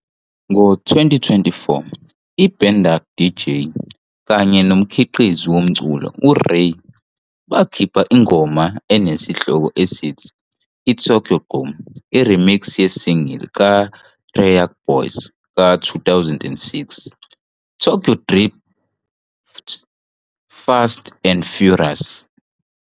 Ngo-2024, i-IBandung DJ kanye nomkhiqizi womculo u-REYY bakhipha ingoma enesihloko esithi, "ITokyo Gqom", i-remix ye-single kaTeriyaki Boyz ka-2006, "Tokyo Drift, Fast and Furious" ".